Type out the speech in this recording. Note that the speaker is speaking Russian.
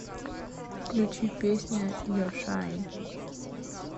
включи песня ер шайн